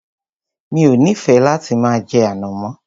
Mi ò nífẹẹ láti máa jẹ ànàmọ́.